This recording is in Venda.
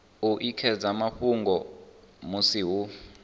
u ekedza mafhungo musi hu